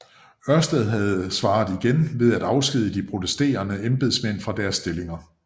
Ørsted havde svaret igen ved at afskedige de protesterende embedsmænd fra deres stillinger